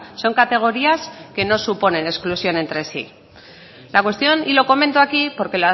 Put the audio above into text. son categorías que no suponen exclusión entre sí la cuestión y lo comento aquí porque